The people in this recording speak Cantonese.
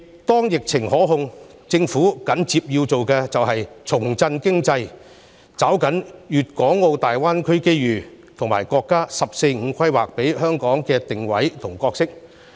當疫情受控，政府緊接要做的是重振經濟，抓緊粵港澳大灣區的機遇，以及國家"十四五"規劃給香港的定位和角色。